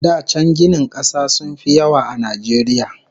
Da can ginin kasa sun fi yawa a Najeriya